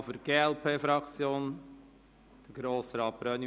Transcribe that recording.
Und noch für die glp-Fraktion Grossrat Brönnimann.